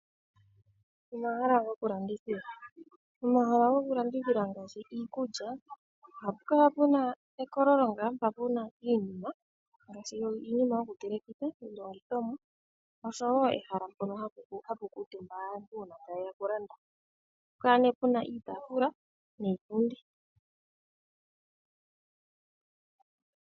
Omahala goku landithila ngaashi iikulya . Ohapu kala puna ekololo mpa puna iinima yoku telekitha . Osho woo ehala mpono hapu kuutumba aantu uuna taye ya oku landa. Ohapu kala puna iitaafula niipundi.